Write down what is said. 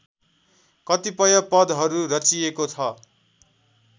कतिपय पदहरू रचिएको छ